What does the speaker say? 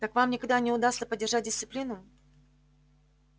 так вам никогда не удастся поддержать дисциплину